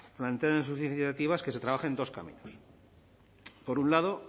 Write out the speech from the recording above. plantean en sus iniciativas que se trabajen dos caminos por un lado